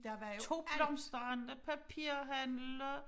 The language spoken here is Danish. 2 blomsterhandler papirhandler